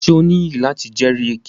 Ṣe o niyi lati jẹri èké?